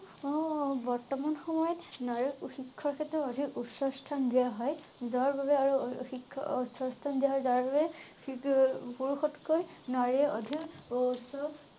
আহ বৰ্তমান সময়ত নাৰী ও শিক্ষাৰ ক্ষেত্ৰত অধিক উচ্চ স্থান দিয়া হয়। যাৰ বাবে আৰুঅঅ শিক্ষা অউচ্চ স্থান দিয়া হয় যাৰ বাবে সিকপুৰুষতকৈ নাৰীৰ অধিক উচ্চ